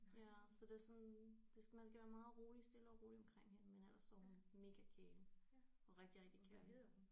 Ja så det er sådan det skal man skal være meget rolig stille og rolig omkring hende men ellers så er hun mega kælen og rigtig rigtig kærlig